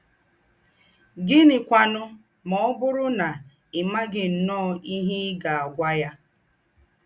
Gị̀nị́kwànù mà ọ̀ bụ́rù ná í mághì ǹnọ́ọ̀ íhe í gá-ágwà ya?